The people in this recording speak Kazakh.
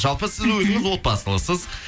жалпы сіз өзіңіз отбасылысыз